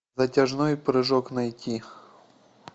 затяжной прыжок найти